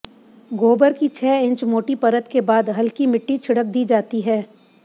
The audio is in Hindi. गोबर की छह इंच मोटी परत के बाद हल्की मिट्टी छिड़क दी जाती है